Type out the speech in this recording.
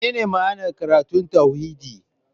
Menene ma'anar karatun tauhidi?